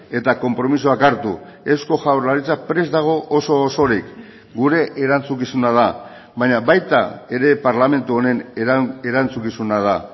eta konpromisoak hartu eusko jaurlaritza prest dago oso osorik gure erantzukizuna da baina baita ere parlamentu honen erantzukizuna da